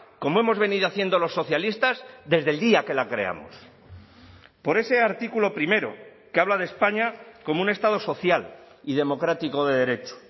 como hemos venido haciendo los socialistas desde el día que la creamos por ese artículo primero que habla de españa como un estado social y democrático de derecho